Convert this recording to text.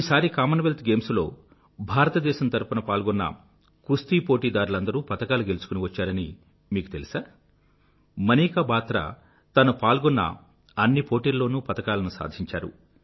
ఈసారి Commonwealth games లో భారతదేశం తరఫున పాల్గొన్న కుస్తీ పోటీదారులందరూ పతకాలు గెలుచుకుని వచ్చారని మీకు తెలుసా మనికా బాత్రా తను పాల్గొన్న అన్ని పోటీల లోనూ పతకాలను సాధించారు